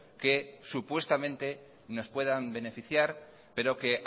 que supuestamente nos puedan beneficiar pero que